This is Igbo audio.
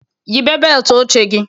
Yịbee beelt oche gị